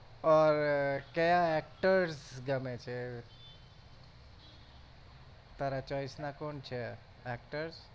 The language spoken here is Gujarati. ઔર કયા actors ગમે છે તારા choice ના કોણ છે actor